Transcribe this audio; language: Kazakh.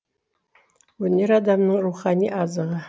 өнер адамның рухани азығы